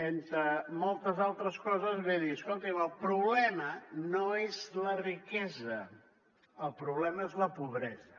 entre moltes altres coses ve a dir escoltin el problema no és la riquesa el problema és la pobresa